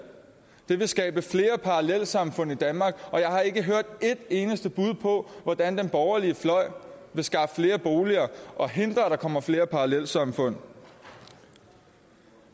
det vil skabe flere parallelsamfund i danmark og jeg har ikke hørt et eneste bud på hvordan den borgerlige fløj vil skaffe flere boliger og hindre at der kommer flere parallelsamfund